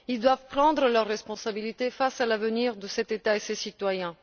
Ils doivent prendre leurs responsabilités face à l'avenir de cet État et de ses citoyens.